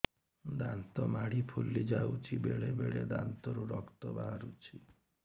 ଦାନ୍ତ ମାଢ଼ି ଫୁଲି ଯାଉଛି ବେଳେବେଳେ ଦାନ୍ତରୁ ରକ୍ତ ବାହାରୁଛି